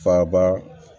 Faaba